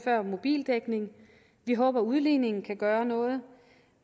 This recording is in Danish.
mobildækning vi håber at udligningen kan gøre noget